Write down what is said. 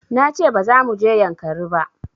Na ce ba za mu je yankari ba